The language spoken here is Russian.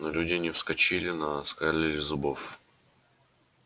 но люди не вскочили но оскалили зубов